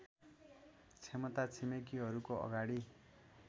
क्षमता छिमेकीहरूको अगाडि